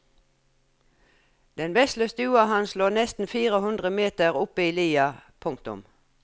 Den vesle stua hans lå nesten fire hundre meter oppe i lia. punktum